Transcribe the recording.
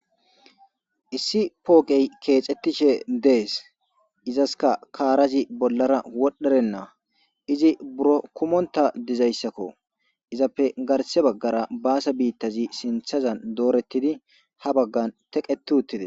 Issi pooqqey kexxetishe de7es izaasika kaarazi bollara wodhdherenna iizi buuro kummontta diizayssako iizappe garsse baggara bassa biitazi sinththazan dooretidi ha baggan teqqeti uttides.